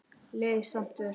Leið samt vel.